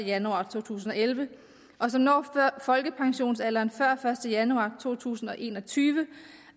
januar to tusind og elleve og som når folkepensionsalderen før første januar to tusind og en og tyve